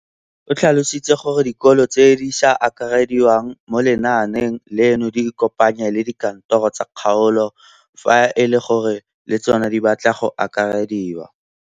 O tlhalositse gore dikolo tse di sa akarediwang mo lenaaneng leno di ikopanye le dikantoro tsa kgaolo fa e le gore le tsona di batla go akarediwa.